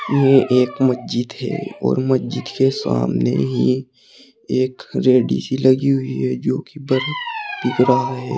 ये एक मस्जिद है और मस्जिद के सामने ही एक रेडी सी लगी हुई है जो कि बरफ़ बिक रहा है।